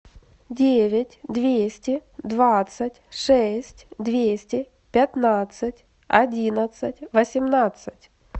девять двести двадцать шесть двести пятнадцать одиннадцать восемнадцать